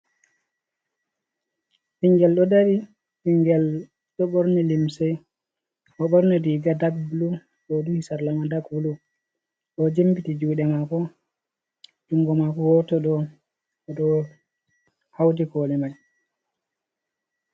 Ɓingel ɗo dari, bingel ɗo borni limsei o borni riga dak blu ɗo duhi sarlama dag blu, ɗo jimbiti juɗe mako jungo mako woto ɗo oɗo hauti koli mai.